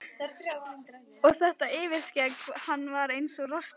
Og þetta yfirskegg, hann var eins og rostungur.